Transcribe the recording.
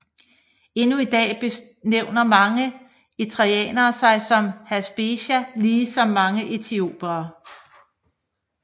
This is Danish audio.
Endnu i dag benævner mange eritreanere sig som Habesha lige som mange etiopiere